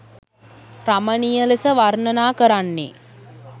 රමණීය ලෙස වර්ණනා කරන්නේ